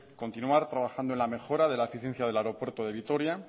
continuar trabajando en la mejora de la eficiencia aeropuerto de vitoria